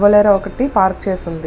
Bolero ఒకటి park చేసి వుంది.